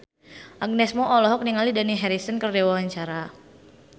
Agnes Mo olohok ningali Dani Harrison keur diwawancara